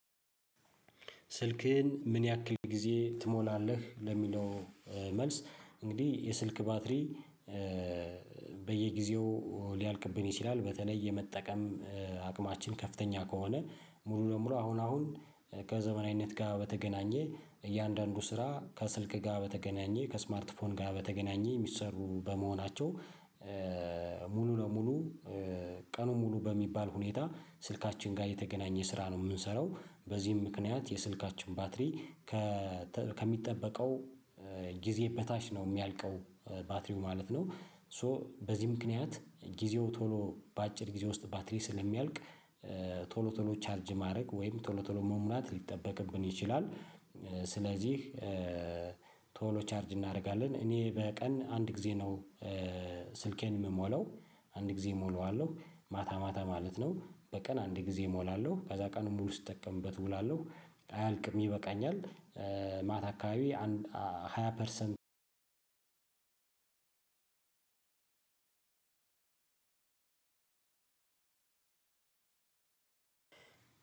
ስልክህን ምን ያክል ጊዜ ትሞላለህ ለሚለው? መልስ እንግዲህ የስልክ ባትሪ በየጊዜው ሊያልቅብን ይችላል በተለይ የመጠቀም አቅማችን ከፍተኛ ከሆነ ሙሉ ለሙሉ አሁን አሁን ከዘመናዊነት ጋር በተገናኘ እያንዳንዱ ስራ ከስልክ ጋር በተገናኘ ከስማርት ፎን ጋ በተገናኘ የሚሰሩ በመሆናቸው ሙሉ ለሙሉ ቀኑን ሙሉ በሚባል ሁኔታ ስልካችን ጋር የተገናኘ ስራ ነው የምንሰራው በዚህም ምክንያት የስልካችን ባትሪ ከሚጠበቀው ጊዜ በታች ነው የሚያልቀው ባትሪው ማለት ነው። ሶ በዚህ ምክንያት ጊዜው ቶሎ በአጭር ጊዜ ውስጥ ባትሪ ስለሚያልቅ ቶሎ ቶሎ ቻርጅ ማድረግ ወይም ቶሎ ቶሎ መሙላት ሊጠበቅብን ይችላል። ስለዚህ ቶሎ ቻርጅ እናደርጋለን እኔ በቀን አንድ ጊዜ ነው። ስልኬን የምሞለው አንድ ጊዜ እሞላዋለሁ ማታ ማታ ማለት ነው። በቀን አንድ ጊዜ እሞላለሁ ከዛ ቀን ሙሉ ስጠቀምበት እውላለሁ አያልቅም ይበቃኛል። ማታ አካባቢ አንድ ሃያ ፐርሰንት አንድ